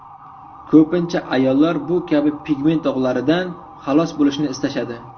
Ko‘pincha ayollar bu kabi pigment dog‘laridan xalos bo‘lishni istashadi.